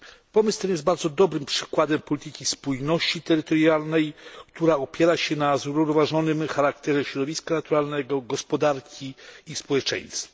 Pomysł ten jest bardzo dobrym przykładem polityki spójności terytorialnej, która opiera się na zrównoważonym charakterze środowiska naturalnego, gospodarki i społeczeństwa.